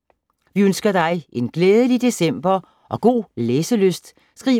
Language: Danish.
Vi ønsker dig en glædelig december og god læselyst.